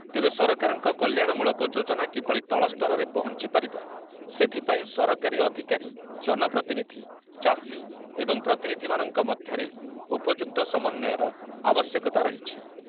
ତେବେ ସରକାରଙ୍କ କଲ୍ୟାଣମୂଳକ ଯୋଜନା କିଭଳି ତଳସ୍ତରରେ ପହଞ୍ଚିପାରିବ ସେଥିପାଇଁ ସରକାରୀ ଅଧିକାରୀ, ଜନପ୍ରତିନିଧି, ଚାଷୀ ଏବଂ ପ୍ରତିନିଧିମାନଙ୍କ ମଧ୍ୟରେ ଉପଯୁକ୍ତ ସମନ୍ୱୟର ଆବଶ୍ୟକତା ରହିଛି ।